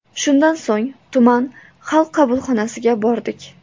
Shundan so‘ng tuman xalq qabulxonasiga bordik.